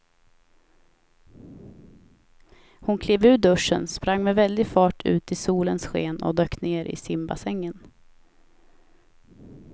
Hon klev ur duschen, sprang med väldig fart ut i solens sken och dök ner i simbassängen.